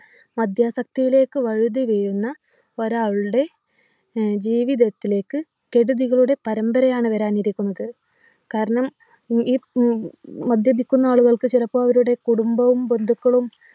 മദ്യാസക്തിയിലേക്ക് വഴുതി വീഴുന്ന ഒരാളുടെ ഏർ ജീവിതത്തിലേക്ക് കെടുതികളുടെ പരമ്പരയാണ് വരാനിരിക്കുന്നത് കാരണം ഈ ഈ ഉം മദ്യപിക്കുന്ന ആളുകൾക്ക് ചിലപ്പോ അവരുടെ കുടുംബവും ബന്ധുക്കളും